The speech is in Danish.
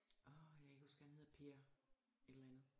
Orh jeg kan ikke huske hvad han hedder Per et eller andet